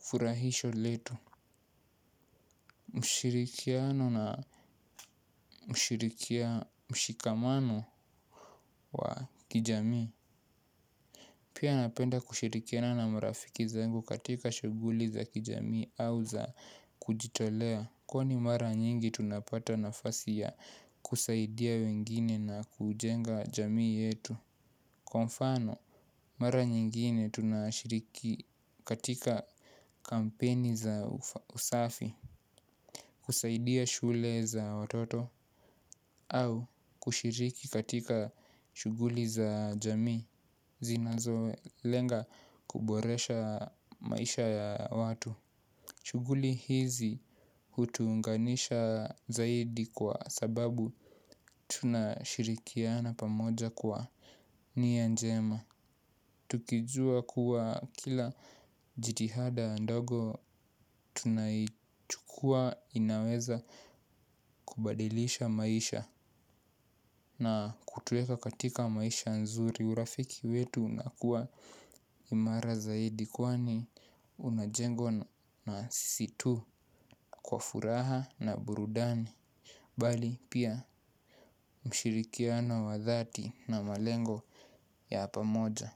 furahisho letu. Mshirikiano na mshirikia mshikamano wa kijamii. Pia napenda kushirikiana na marafiki zangu katika shughuli za kijami au za kujitolea kwa ni mara nyingi tunapata nafasi ya kusaidia wengine na kujenga jamii yetu. Kwa mfano, mara nyingine tunashiriki katika kampeni za usafi. Kusaidia shule za watoto au kushiriki katika shughuli za jamii zinazolenga kuboresha maisha ya watu. Shughuli hizi hutuunganisha zaidi kwa sababu tunashirikiana pamoja kwa ni anjema. Tukijua kuwa kila jitihada ndogo tunaichukuwa inaweza kubadilisha maisha na kutuweka katika maisha nzuri urafiki wetu unakuwa imara zaidi kwani unajengwa na sisi tu kwa furaha na burudani bali pia mshirikiano wa dhati na malengo ya pa moja.